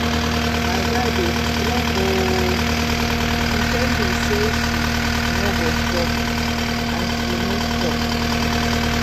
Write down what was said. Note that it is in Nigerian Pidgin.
My babe strong oo, she tell me say she no go stop and she no stop